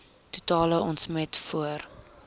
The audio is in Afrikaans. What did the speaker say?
totale omset voor